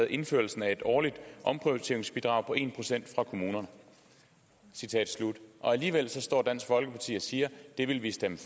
indførelse af et årligt omprioriteringsbidrag på en procent fra kommuner alligevel står dansk folkeparti og siger det vil vi stemme